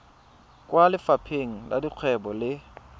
kwa lefapheng la dikgwebo le